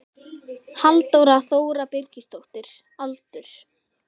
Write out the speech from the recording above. Halldóra Þóra Birgisdóttir Aldur?